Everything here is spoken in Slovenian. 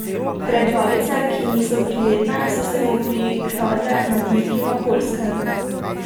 Preglavice, ki niso prijetne, so se mu prikradle na dirki na Poljskem.